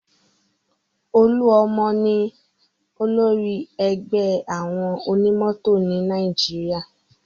Olúọmọ ni olórí ẹgbẹ́ àwọn onímọ̀tò ni Nàìjíríà